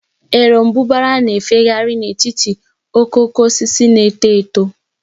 Erombubara na-efegharị n'etiti okooko osisi na-eto eto.